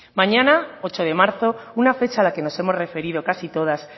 mañana ocho de marzo una fecha a la que nos hemos referido casi todas